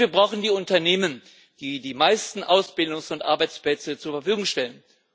Und wir brauchen die Unternehmen, die die meisten Ausbildungs und Arbeitsplätze zur Verfügung stellen.